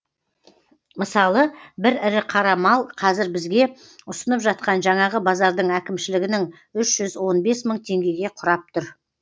мысалы бір ірі қара мал қазір бізге ұсынып жатқан жаңағы базардың әкімшілігінің үш жүз он бес мың теңгеге құрап тұр